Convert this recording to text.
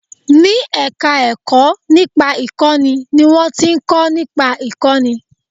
Ní ẹ̀ka ẹ̀kọ́ nípa ìkọ́ni ni wọ́n ti ń kọ́ nípa ìkọ́ni